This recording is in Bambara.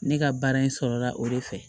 Ne ka baara in sɔrɔla o de fɛ